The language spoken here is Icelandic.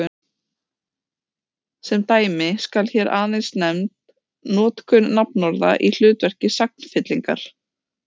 Sem dæmi skal hér aðeins nefnd notkun nafnorða í hlutverki sagnfyllingar.